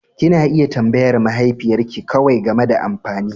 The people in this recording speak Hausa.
Kena iya tambayar mahaifiyar ke kawai game da amfani.